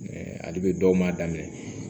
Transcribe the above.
ali be dɔw m'a daminɛ